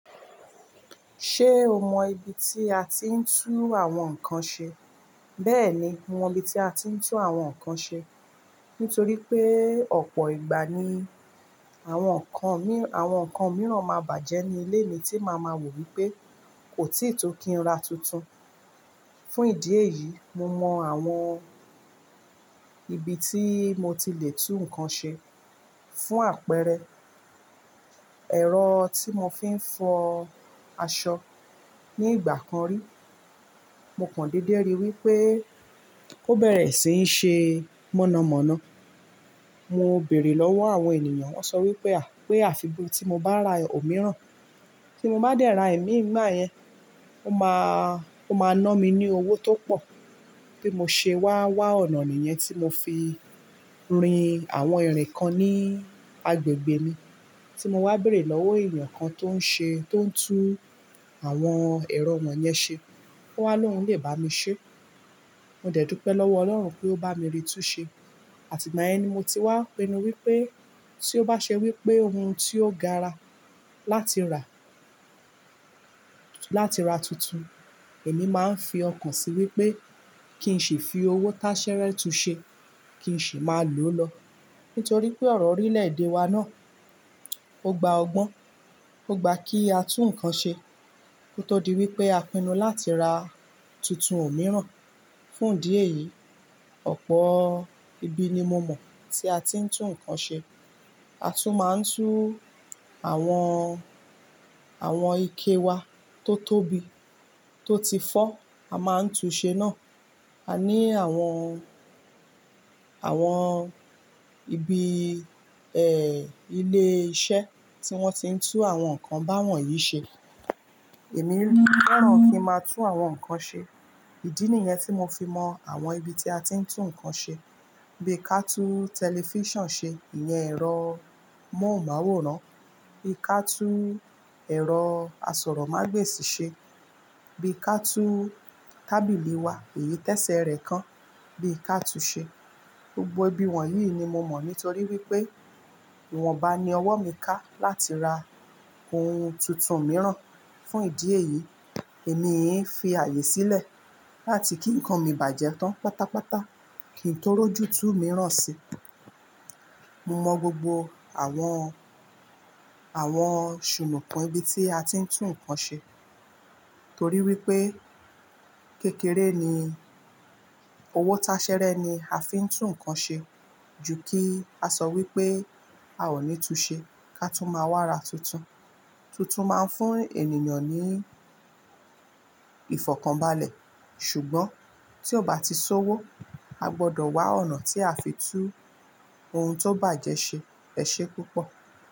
Ṣé o mọ ibi tí a ti ń tú àwọn nǹkan ṣe? Bẹ́ẹ̀ni, mo mọ ibi tí a ti ń tú àwọn nǹkan ṣe. Nítorí pé ọ̀pọ̀ ìgbà ni àwọn nǹkan, àwọn nǹkan mìíràn máa bàjẹ́ ní ilé mi tí màá máa wò wípé kò tíì tó kí n ra tuntun. Fún ìdí èyí, mo mọ àwọn ibi tí mo ti lè tú nǹkan ṣe. Fún àpẹẹrẹ, ẹ̀rọ tí mo fi ń fọ aṣọ ní ìgbà kan rí, mo kan dédé rí wípé ó bẹ̀rẹ̀ sí í ṣe mọ̀nàmọ́ná. Mo bèrè lọ́wọ́ àwọn ènìyàn, wón sọ wípé, pé àfi tí mo bá ra òmíràn, tí mo bá dẹ́ra ẹ̀mí ngba yẹn, ó máa, ó máa ná mi ní owó tó pọ̀ tí mo ṣe wá wá ọ̀nà nìyẹn tí mo fi rin àwọn ìrìn kan ní agbègbè mi tí mo wá bèrè lọ́wọ́ ènìyàn kan tó ń ṣe, tó ń tú àwọn ẹ̀rọ wọ̀n yẹn ṣe. Ó wá lóhun lè bá mi ṣe. Mo dẹ̀ tú pẹ́ lọ́wọ́ Ọlọ́run pé ó bá mi ri tú ṣe. Àti ìgbà yẹn ni mo ti wá pinnu wípé tí ó bá ṣe wípé ohun tí ó gaara láti rà, láti rà tuntun, èmi máa ń fi ọkàn sí wípé kí n ṣi fi owó tasẹ́rẹ́ tú ṣe, kí n sì máa lòó lọ. Nítorí pé ọ̀rọ̀ orílẹ̀ èdè wa náà ó gba ọgbọ́n, ó gba kí a tú nǹkan ṣe. Ó tó di wípé a pinnu láti ra tuntun òmíràn. Fún ìdí èyí, ọ̀pọ̀ ibi ni mo mọ̀ tí a ti ń tú nǹkan ṣe. A tún máa ń tú àwọn, àwọn ike wa tó tóbi, tó ti fọ́, a máa ń tú ṣe náà. A ní àwọn, àwọn ibi, ẹ́, ilé iṣẹ́ tí wọ́n ti ń tú àwọn nǹkan báwọn yìí ṣe. Èmi fẹ́ràn kí ń máa tú àwọn nǹkan ṣe. Ìdí nìyẹn tí mo fi mọ àwọn ibi tí a ti ń tú nǹkan ṣe. Bíi ka tú tẹlifíṣàn ṣe, ìyẹn ẹ̀rọ móhùnmáwòrán. Bií ka tú ẹ̀rọ asọ̀rọ̀mágbèsì ṣe. Bíi ka tú tábìlì wa, èyí tẹ́sẹ̀ rẹ̀ kan bií ka tú ṣe. Gbogbo ibi wọ̀nyí ni mo mọ̀ nítorí wípé ìwọ̀nba ni ọwọ́ mi ká láti ra ohun tuntun mìíràn. Fún ìdí èyí, èmi ii fi ààyè sílẹ̀ láti kí nǹkan mi bàjẹ́ tán pátápátá kí n tó rọ́jú tú mìíràn sí i. Mo mọ gbogbo àwọn, àwọn sùnùkan ibi tí a ti ń tú nǹkan ṣe torí wípé kékeré ni, owó tasẹ́rẹ́ ni a fi ń tú nǹkan ṣe ju kí a sọ wípé a ò ní tú ṣe ká tú máa wá ra tuntun. Tutun máa ń fún ènìyàn ní ìfọ̀kànbalẹ̀. Ṣùgbọ́n tí ó bá ti sowó, a gbọdọ̀ wá ọ̀nà tí a fi tú ohun tó bàjẹ́ ṣe. Ẹ ṣé púpọ̀.